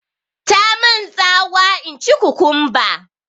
Tamun tsawa in ci kukumba